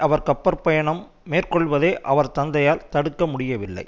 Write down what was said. அவர் கப்பற்பயணம் மேற்கொள்வதை அவர் தந்தையால் தடுக்க முடியவில்லை